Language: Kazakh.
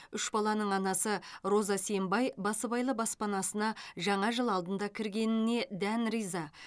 үш баланың анасы роза сембай басыбайлы баспанасына жаңа жыл алдында кіргеніне дән риза